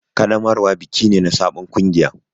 Ƙaddamarwa biki ne na sabon kungiya.